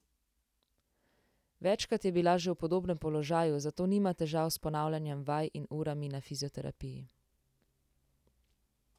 Večkrat je bila že v podobnem položaju, zato nima težav s ponavljanjem vaj in urami na fizioterapiji.